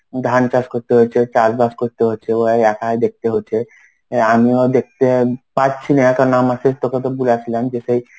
ধান চাষ করতে হচ্ছে চাষবাস করতে হচ্ছে ও একাই দেখতে হচ্ছে আমিও দেখতে পাচ্ছি না কারণ আমার সেই তোকে তো বলে আসলাম যে সেই